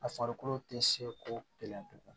A farikolo tɛ se ko kelen tugun